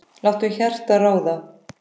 Láttu hjartað ráða.